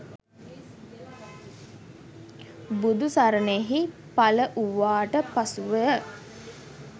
බුදුසරණෙහි පළ වූවාට පසුව ය.